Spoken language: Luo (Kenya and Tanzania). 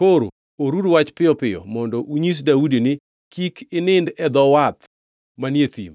Koro oruru wach piyo piyo mondo unyis Daudi ni, ‘Kik inindi e dho wath manie thim;